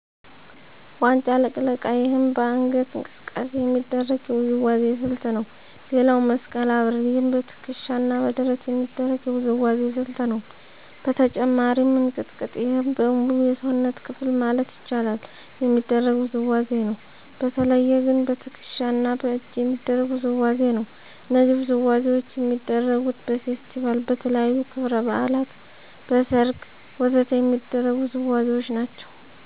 ዋንጫ ልቅለቃ ይህም በአንገት እንቅስቃሴ የሚደረግ የውዝዋዜ ስልት ነው ሌላው መስቀል አብርር ይህም በትከሻ እና በደረት የሚደረግ የውዝዋዜ ስልት ነው በተጨማሪም እንቅጥቅጥ ይህም በሙሉ የሰውነት ክፍል ማለት ይቻላል የሚደረግ ውዝዋዜ ነው በተለየ ግን በትክሻ እና በእጅ የሚደረግ ውዝዋዜ ነው እነዚህ ውዝዋዜዎች የሚደረጉት በፌስቲቫል, በተለያዩ ክብረ በዓላት, በሰርግ ወ.ዘ.ተ የሚደረጉ ውዝዋዜዎች ናቸው